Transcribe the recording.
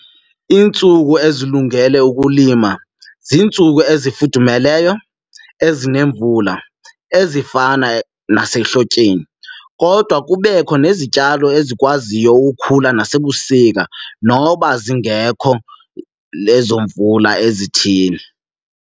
Iintsuku ezilungele ukulima ziintsuku ezifudumeleyo, ezinemvula, ezifana nasekuhlonipheni. Kodwa kubekho nezityalo ezikwaziyo ukukhula nasebusika noba zingekho lezo mvula ezithile.